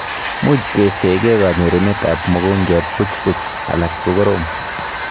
Muuch keistaekei kanyorunet ab mogongiat buchbuch alak kokorom